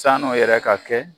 Sann'o yɛrɛ ka kɛ